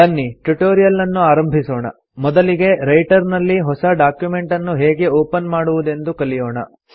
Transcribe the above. ಬನ್ನಿ ಟ್ಯುಟೋರಿಯಲ್ಲನ್ನು ಆರಂಭಿಸೋಣ ಮೊದಲಿಗೆ ರೈಟರ್ ನಲ್ಲಿ ಹೊಸ ಡಾಕ್ಯುಮೆಂಟನ್ನು ಹೇಗೆ ಒಪನ್ ಮಾಡುವುದೆಂದು ಕಲಿಯೋಣ